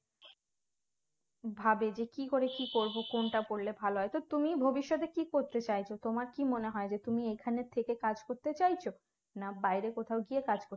ভাবে যে কি করে কি করব কোনটা করলে ভালো হয় তো তুমি ভবিষ্যতে কি করতে চাইছো তোমার কি মনে হয় যে তুমি এখানে থেকে কাজ করতে চাইছো না বাইরে কোথাও গিয়ে কাজ কর